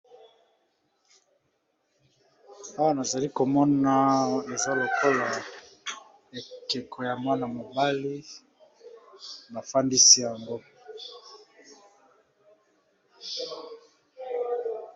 Elili oyo eza lokola ekeko ya elenge mobali afandi na kiti akangi misu. Alati eloko na kingo na zolo munene.